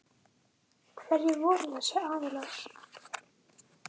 Hverjir voru þessir aðilar?